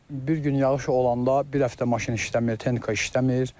Bir gün yağış olanda bir həftə maşın işləmir, texnika işləmir.